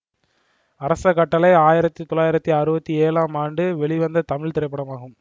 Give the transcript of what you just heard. அரச கட்டளை ஆயிரத்தி தொள்ளாயிரத்தி அறுபத்தி ஏழாம் ஆண்டு வெளிவந்த தமிழ் திரைப்படமாகும்